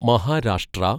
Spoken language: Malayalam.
മഹാരാഷ്ട്ര